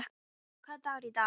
Hólmar, hvaða dagur er í dag?